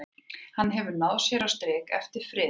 Hefur hann náð sér á strik eftir friðun?